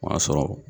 O y'a sɔrɔ